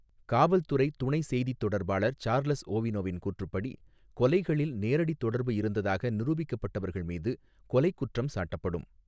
காவல்துறை துணை செய்தித் தொடர்பாளர் சார்லஸ் ஓவினோவின் கூற்றுப்படி, கொலைகளில் நேரடி தொடர்பு இருந்ததாக நிரூபிக்கப்பட்டவர்கள் மீது கொலைக் குற்றம் சாட்டப்படும்.